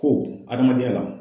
Ko adamadenya la.